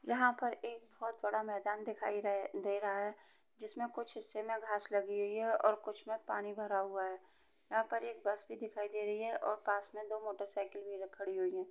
यहाँ पे एक बहोत बाद मेदान दिखाई दे रहा है जिसमे कुछ हिस्से मे घास लगी हुई है और कुछ में पानी भरा हुआ है। यहाँ पर एक बस भी दिखाई दे रही है और पास में दो मोटर साइकिल भी खड़ी हुई हैं।